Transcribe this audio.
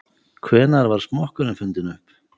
Hvenær var smokkurinn fundinn upp?